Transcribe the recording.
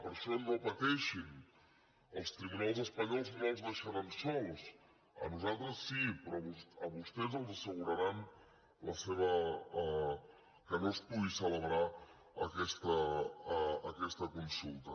per això no pateixin els tribunals espanyols no els deixaran sols a nosaltres sí però a vostès els asseguraran que no es pugui celebrar aquesta consulta